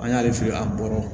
An y'ale fili an bɔra